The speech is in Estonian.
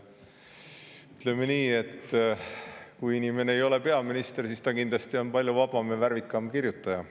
Ütleme nii, et kui inimene ei ole peaminister, siis ta kindlasti on palju vabam ja värvikam kirjutaja.